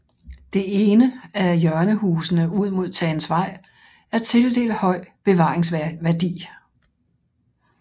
Det ene af hjørnehusene ud mod Tagensvej er tildelt høj bevaringsværdi